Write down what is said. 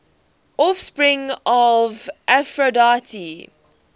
offspring of aphrodite